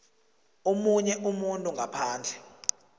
omunye umuntu ngaphandle